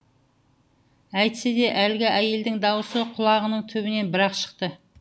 әйтсе де әлгі әйелдің даусы құлағының түбінен бір ақ шықты